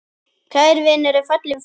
Kær vinur er fallin frá.